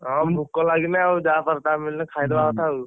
ହଁ ଭୋକ ଲାଗିଲେ ଆଉ ଯାହା ପାରି ତାହା ମିଳିଲେ ଖାଇଦବା କଥା ଆଉ।